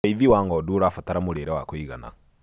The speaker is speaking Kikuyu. ũrĩithi wa ng'ondu urabatra mũrĩre wa kũigana